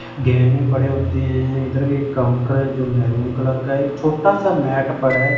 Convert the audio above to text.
गेहनें पड़े होते है इधर एक काउंटर है जो मैरून कलर का है एक छोटा सा मैट पड़ा --